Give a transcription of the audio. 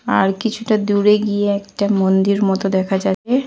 আর কিছুটা দূরে গিয়ে একটা মন্দির মতো দেখা যাচ্ছে।